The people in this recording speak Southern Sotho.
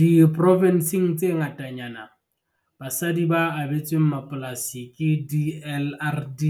Diprovenseng tse ngatanyana, basadi ba abetsweng mapolasi ke DLRD